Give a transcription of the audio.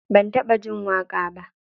Ban taɓa jin waƙa ba.